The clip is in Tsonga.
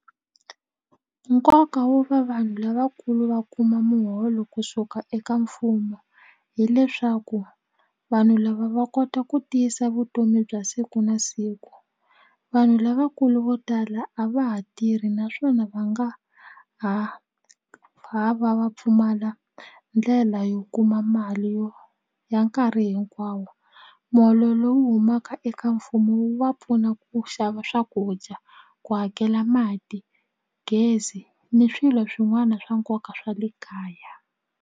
Nkoka wo va vanhu lavakulu va kuma muholo kusuka eka mfumo hileswaku vanhu lava va kota ku tiyisa vutomi bya siku na siku vanhu lavakulu vo tala a va ha tirhi naswona va nga ha ha va va pfumala ndlela yo kuma mali yo ya nkarhi hinkwawo muholo lowu humaka eka mfumo wu va pfuna ku xava swakudya ku hakela mati gezi ni swilo swin'wana swa nkoka swa le kaya.